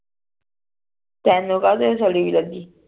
ਤੈਨੂ ਕਦੇ ਨਾਲ ਸੜੀ ਹੁਈ ਲੱਗੀ